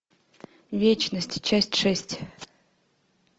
вечность часть шесть